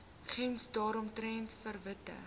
gems daaromtrent verwittig